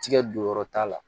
Tigɛ don yɔrɔ ta la